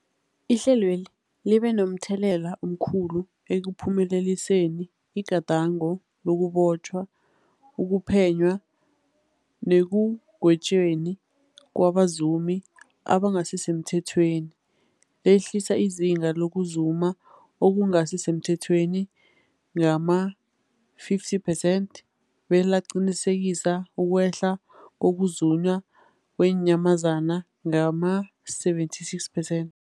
Ihlelweli libe momthelela omkhulu ekuphumeleliseni igadango lokubotjhwa, ukuphenywa nekugwetjweni kwabazumi abangasisemthethweni, lehlisa izinga lokuzuma okungasi semthethweni ngama-50 percent belaqinisekisa ukwehla kokuzunywa kweenyamazana ngama-76 percent.